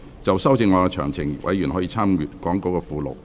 就修正案詳情，委員可參閱講稿附錄。